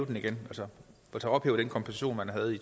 den igen altså ophæve den kompensation man havde